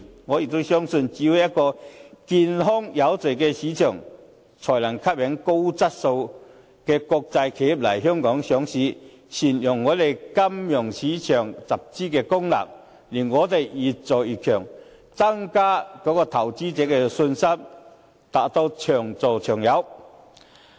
我相信只有一個健康有序的市場，才能夠吸引高質素的國際企業來港上市，善用本地金融市場的集資功能，令我們越做越強，增加投資者的信心，達到長做長有。